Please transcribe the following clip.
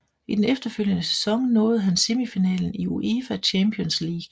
I den efterfølgende sæson nåede han semifinalen i UEFA Champions League